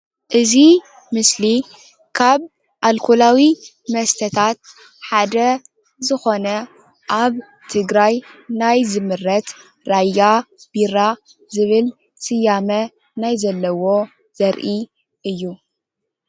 እዚ ምስሊ ካብ ኣልኮላዊ መስተታት ሓደ ዝኾነ ኣብ ትግራይ ናይ ዝምረት ራያ ቢራ ዝበል ስያመ ናይ ዘለዎ ዘርኢ እዩ።